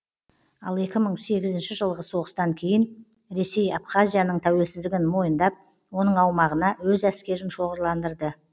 ал екі мың сегізінші жылғы соғыстан кейін ресей абхазияның тәуелсіздігін мойындап оның аумағына өз әскерін шоғырландырды